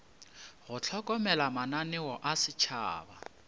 go hlokomela mananeo a setšhaba